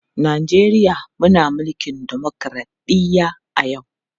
Najeriya muna mulkin dimokradɗiyya a yau.